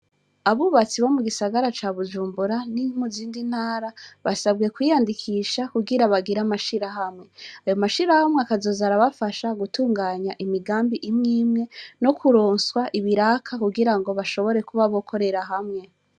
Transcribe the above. Abubatsi bo mugisaga ca Bujumbura no muzindi ntara basabwe kwiyandikisha kugirango bagire amashirahamwe, ayo mashirahamwe akazoza arabafasha gutunganya imigambi imwe imwe nukuronswa ibiraka kugirango bazoshobore gukorera hamwe.